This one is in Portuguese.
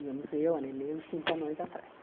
Íamos eu, a Nenê e os cinco anões atrás.